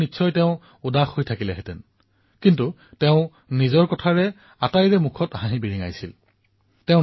সেই সময়ত অন্য কোনো হলে তেওঁ উদাস আৰু নিৰাশিত হলহেঁতেন কিন্তু তেওঁৰ চেহেৰাত হতাশা নাছিল বৰঞ্চ তেওঁ নিজৰ কথাৰে সকলোৰে মুখত হাঁহি বিৰিঙাবলৈ সমৰ্থ হৈছিল